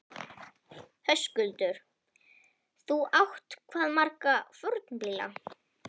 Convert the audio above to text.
Höskuldur: Þú átt hvað marga fornbíla?